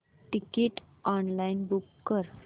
ticket online book कर